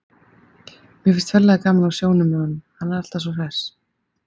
Mér finnst ferlega gaman á sjónum með honum, hann er alltaf svo hress.